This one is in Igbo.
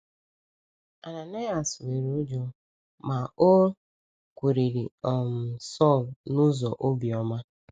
Ananias nwere ụjọ, ma o kwurịrị um Saulu n’ụzọ obiọma.